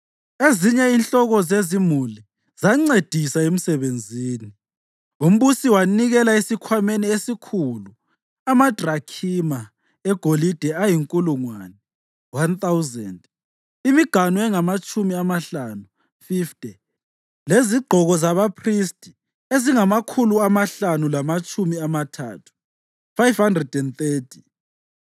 Ezinye inhloko zezimuli zancedisa emsebenzini. Umbusi wanikela esikhwameni esikhulu, amadrakhima egolide ayinkulungwane (1,000), imiganu engamatshumi amahlanu (50) lezigqoko zabaphristi ezingamakhulu amahlanu lamatshumi amathathu (530).